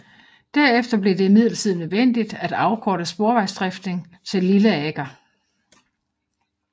Derefter blev det imidlertid nødvendigt at afkorte sporvejsdriften til Lilleaker